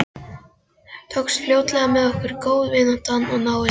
Tókst fljótlega með okkur góð vinátta og náið samstarf.